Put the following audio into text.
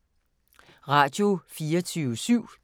Radio24syv